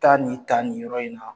Taa nin ta nin yɔrɔ in na.